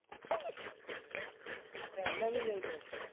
હા તો એમને બી લઇ લઈશ